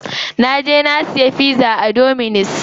Na je na siya pizza a dominus.